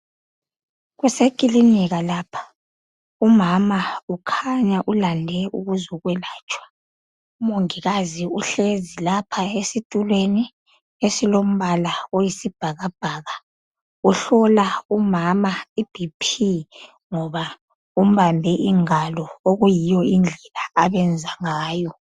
Kuseclinika lapha umama kukhanya ulande ukuzo yelatshwa umongikazi uhlezi lapha esitulweni esilombala oyibhakabhaka uhlola umama ibp ngoba umbambe isandla okuyiyo indlela ababenza ngayo